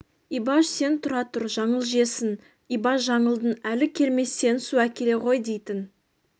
ибаш сен тұра тұр жаңыл жесін ибаш жаңылдың әлі келмес сен су әкеле ғой дейтін